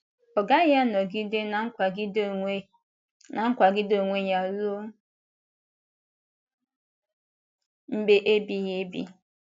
Ọ gaghị anọgide na-akwàgide onwe na-akwàgide onwe ya ruo mgbe ebighị ebi.